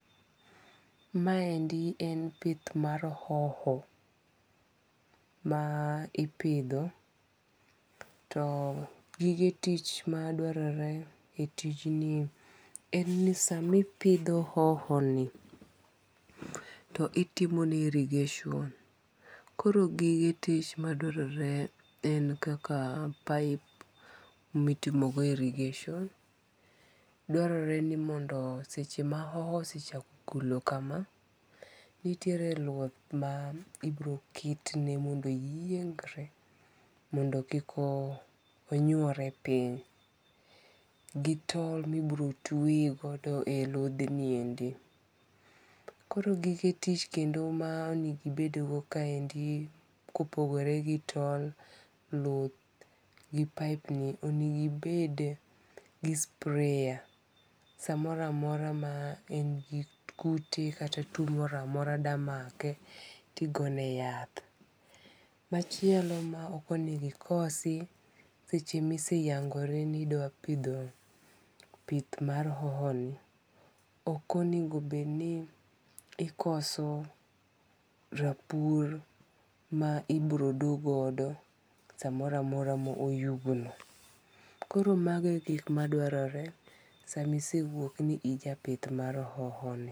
Maendi en pith mar hoho. Ma ipidho. To gige tich madwarore e tij ni en nisamipidho hohoni, to itimone irrigation. Koro gige tich madwarore en kaka pipe mitimogo irrigation. Dwarore ni mondo seche ma hoho osechako golo kama, nitiere luth ma ibiro ketne mondo oyiengre mondo kik onywore piny. Gitol mibiro tweye godo e ludhniendi. Koro gige tich kendo ma onego ibedgo kaendi ko opogore gi tol, luth, gi pipe ni onego ibed gi sprayer. Samoro amora ma en gi kute kata tuo moro amora da make tigone yath. Machielo ma ok onego ikosi seche ma iseyangori ni idwa pidho pith mar hoho ni ok onego bed ni ikoso rapur ma ibiro do godo samoro amora ma oyugno. Koro mago e gik madwarore sama isewuok ni ija pith mar hoho ni.